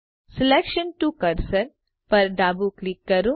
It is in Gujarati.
સિલેક્શન ટીઓ કર્સર પર ડાબું ક્લિક કરો